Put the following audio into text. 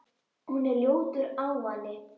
Hún er ljótur ávani.